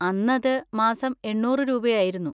അന്നത് മാസം എണ്ണൂറ് രൂപയായിരുന്നു.